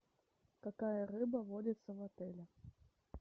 какая рыба водится в отеле